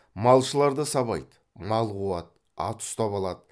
малшыларды сабайды мал қуады ат ұстап алады